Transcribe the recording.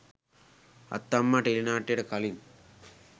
අත්තම්මා ටෙලිනාට්‍යයට කලින්